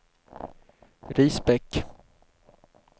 Risbäck